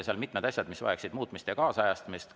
Seal on mitmed asjad, mis vajaksid muutmist ja kaasajastamist.